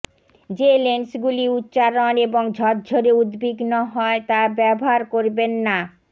যে লেন্সগুলি উচ্চারণ এবং ঝরঝরে উদ্বিগ্ন হয় তা ব্যবহার করবেন না